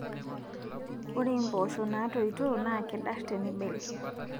Ore empoosho natoito NAA kedar tinibel